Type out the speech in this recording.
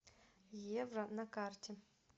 евро на карте